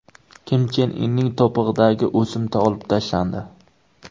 Kim Chen Inning to‘pig‘idagi o‘simta olib tashlandi.